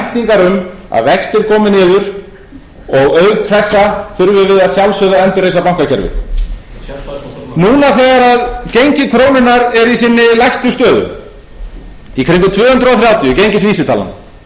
væntingar um að vextir komi niður og auk þessa þurfum við að sjálfsögðu að endurreisa bankakerfið núna þegar gengi krónunnar er í sinni lægstu stöðu í kringum tvö hundruð þrjátíu gengisvísitalan þá kemur fyrst fram hjá hæstvirtur viðskiptaráðherra og síðan núna héðan úr ræðustóli alþingis í dag